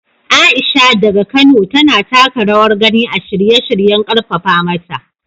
Aisha, daga Kano, tana taka rawar gani a shirye-shiryen karfafa mata.